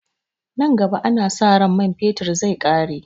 Nan gaba ana sa ran man fetir zai ƙare